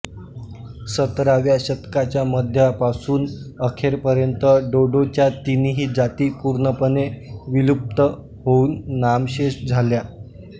सतराव्या शतकाच्या मध्यापासून अखेरपर्यंत डोडोच्या तीनही जाती पूर्णपणे विलुप्त होऊन नामशेष झाल्या